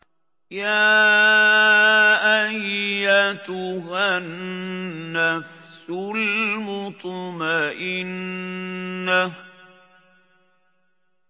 يَا أَيَّتُهَا النَّفْسُ الْمُطْمَئِنَّةُ